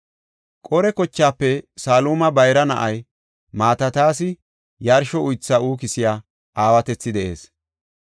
Qore kochaafe Saluma bayra na7ay Mataatas yarsho uytha uukisiya aawatethi de7ees.